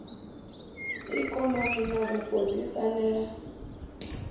ikonomi na vhupo dzi fanela